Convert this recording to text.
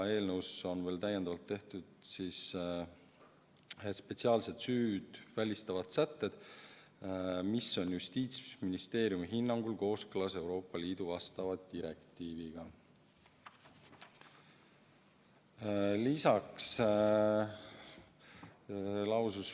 Eelnõus on veel täiendavalt tehtud spetsiaalsed süüd välistavad sätted, mis on Justiitsministeeriumi hinnangul kooskõlas Euroopa Liidu asjaomase direktiiviga.